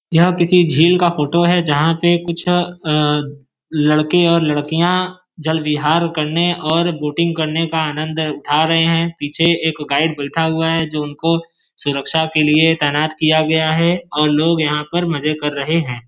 यह किसी झील का फोटो है जहाँ पे कुछ अ-लड़के और लड़कियाँ जल विहार करने और बोटिंग करने का आनंद उठा रहे हैं। पीछे एक गाइड बइठा हुआ है जो उनको सुरक्षा के लिए तैनात किया गया है और लोग यहाँ पर मजे कर रहे हैं।